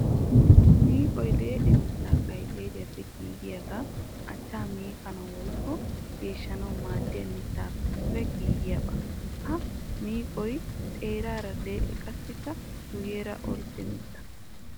Miiqqoy lee'e mitta qayxxariyappe giigiya achcha miiqqanawu woykko geeshshanawu maadiya mittappe giigiyabba. Ha miiqqoy xeerara lee'e qassikka guyera orddw mitta.